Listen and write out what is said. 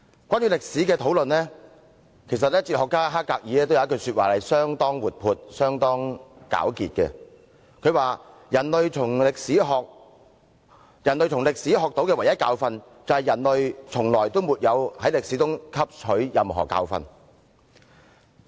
關於歷史的討論，哲學家黑格爾有一句話是相當活潑和簡潔的，他說："人類從歷史學到的唯一的教訓，就是人類沒有從歷史中汲取任何教訓。